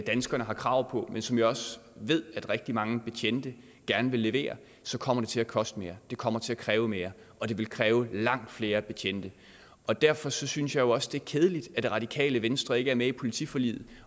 danskerne har krav på men som jeg også ved at rigtig mange betjente gerne vil levere så kommer det til at koste mere det kommer til at kræve mere og det vil kræve langt flere betjente derfor synes jeg jo også det er kedeligt at det radikale venstre ikke er med i politiforliget